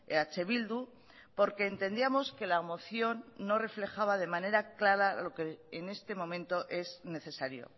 eh bildu porque entendíamos que la moción no reflejaba de manera clara lo que en estos momentos es necesario